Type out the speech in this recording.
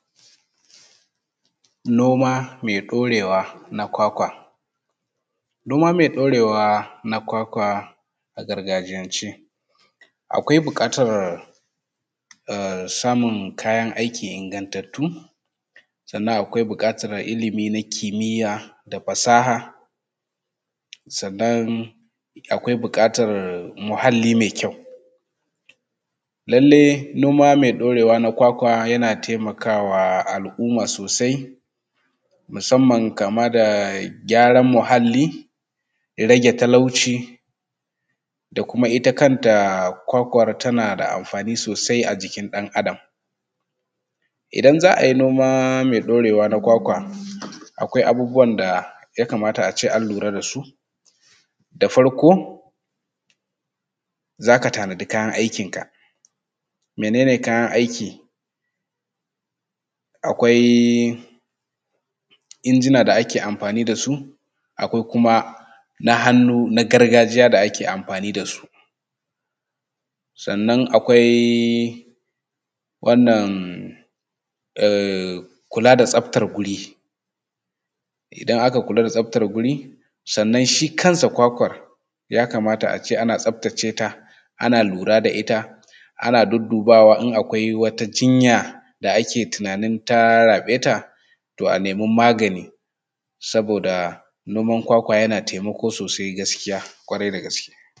Noma mai ɗorewa na kwakwa. Noma mai ɗorewa na kwakwa a gargajiyance akwai buƙatar samun kayan aiki ingantattu sannan akwai buƙatar ilimi nakimiyya da fasaha sannan akwai buƙatar muhalli mai kyau. Lallai noma mai ɗorewa na kwakwa yana taimakawa a al’umma sosai musamman kama da gyaran muhalli, rage talauci, da kuma ita kanta kwakwar tana da amfani sosai a jikin ɗan’adam. Idan za a yi noma mai ɗorewa na kwakwa akwai abubuwan da ya kamata a ce an lura da su da farko z aka tanadi kayan aikin ka. Menene kayan aiki? Akwai injina da ake amfani da su, akwai kuma na hannu na gargajiya da ake amfani da su. Sannan akwai wannan ehh kula da tsabtar guri, idan aka kula da tsabtar guri sannan shi kan sa kwakwar ya kamata a ce ana tsabtace ta, ana lura da ita ana duddubawa in akwai wata jinya da ake tunanin ta raɓe ta, toh a nemi magani saboda noman kwakwa yana taimako sosai ƙwarai da gaske.